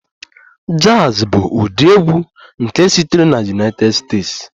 Jazz bụ ụdị egwu nke sitere na United States